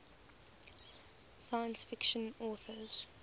science fiction authors